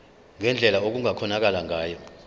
ngendlela okungakhonakala ngayo